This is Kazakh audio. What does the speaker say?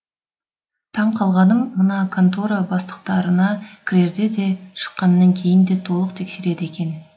таң қалғаным мына контора бастықтарына кірерде де шыққанан кейін де толық тексереді екен